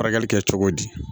Furakɛli kɛ cogo di